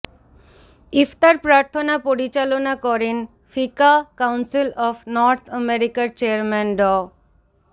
ইফতার প্রার্থনা পরিচালনা করেন ফিকাহ কাউন্সিল অব নর্থ আমেরিকার চেয়ারম্যান ড